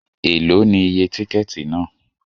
Èló ni iye tíkẹ́ẹ̀tì náà?